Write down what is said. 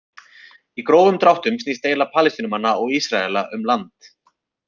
Í grófum dráttum snýst deila Palestínumanna og Ísraela um land.